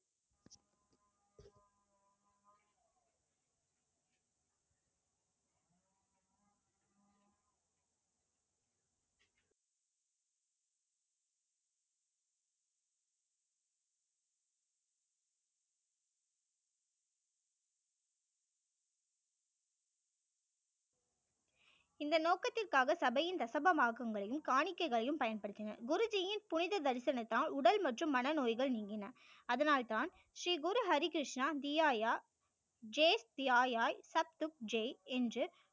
இந்த நோக்கத்திற்க்காக சபை யின் தசம பாகங்களையும் காணிக்கைகளையும் பயன்படுத்தினர் குருஜியின் புனித தரிசனத்தால் உடல் மற்றும் மன நோய்கள் நீங்கின அதனால் தான் ஸ்ரீகுரு ஹரி கிருஷ்ணா தியயா ஜேஸ் தீயயாய் சப் துக் ஜெ என்று